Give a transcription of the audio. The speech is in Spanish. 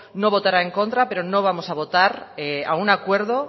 no votará en contra pero no vamos a votar a un acuerdo